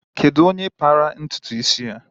Kedu onye kpara ntụtụ isi ya a?